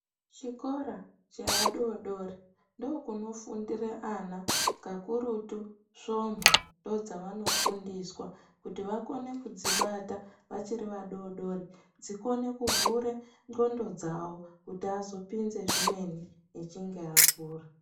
Chikora chevadodori ndokunofundira ana. Kakurutu zvomhu ndodzavano fundiswa kuti vakone kudzibata vachiri vadodori dzikone kuvhura ndxondo dzawo kuti vazokone kupinze zvimweni achinge akura.